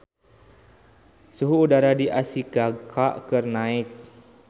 Suhu udara di Ashikaga keur naek